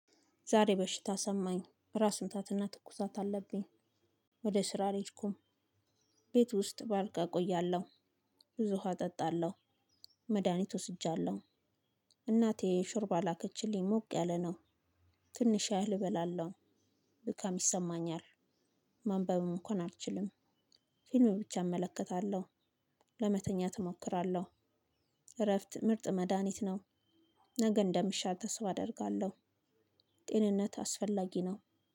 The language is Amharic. ዛሬ በሽታ ሰማኝ ራስ ምታት እና ትኩሳት አለብኝ ወደ ስራ አልሄድኩም ቤት ውስጥ ባልጋ እቆያለሁ። ብዙ ውሃ እጠጣለሁ፣ መድሃኒት ወስጃለሁ እናቴ ሹርባ ላከችልኝ ሞቅ ያለ ነው። ትንሽ ያህል እበላለሁኝ ድካም ይሰማኛል፤ ማንበብም እንኳን አልችልም። ፊልም ብቻ እመለከታለሁ፣ ለመተኛት እሞክራለሁ፣ እረፍት ምርጥ መድሃኒት ነው። ነገ እንደምሻት ሰው አደርጋለሁ ጤንነት አስፈላጊ ነው።